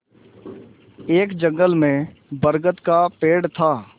एक जंगल में बरगद का पेड़ था